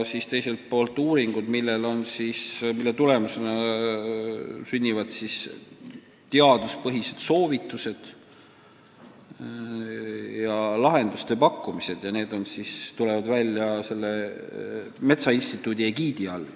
Teiselt poolt tehakse uuringuid, mille tulemusena sünnivad teaduspõhised soovitused ja pakutakse lahendusi, mis tulevad välja metsainstituudi egiidi all.